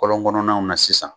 Kɔlɔn kɔnɔn naw na sisan